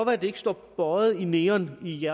at det ikke står bøjet i neon i